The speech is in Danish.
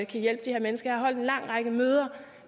kan hjælpe de her mennesker jeg har holdt en lang række møder